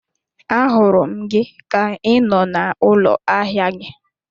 A hụrụ gị ka I nọ n'ụlọ ahịa gị